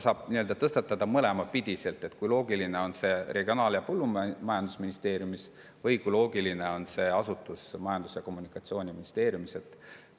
Saab küsida nii-öelda mõlemat pidi: kui loogiline on see asutus Regionaal‑ ja Põllumajandusministeeriumi all või kui loogiline on see asutus Majandus‑ ja Kommunikatsiooniministeeriumi all?